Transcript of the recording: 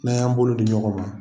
N'an y'an bolo di ɲɔgɔn ma